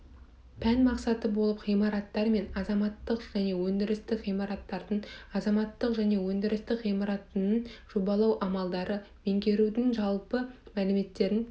пән мақсаты болып ғимараттар және азаматтық және өндірістік ғимараттардың азаматтық және өндірістік ғимаратының жобалау амалдарын меңгерудің жалпы мәліметтерін